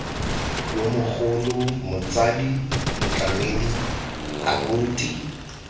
yo mogolo motsadi motlamedi abuti